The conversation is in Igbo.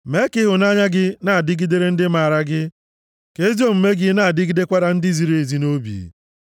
Mee ka ịhụnanya gị na-adịgidere ndị maara gị, ka ezi omume gị na-adịgidekwara ndị ziri ezi nʼobi.